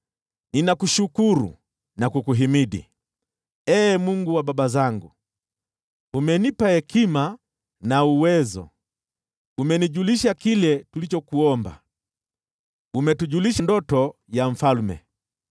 Ninakushukuru na kukuhimidi, Ee Mungu wa baba zangu: Umenipa hekima na uwezo, umenijulisha kile tulichokuomba, umetujulisha ndoto ya mfalme.”